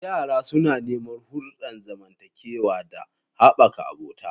Yara suna neman hulɗar zamantakewa da haɓaka abota.